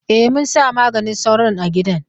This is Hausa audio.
E, mun sa maganin sauron a gidan.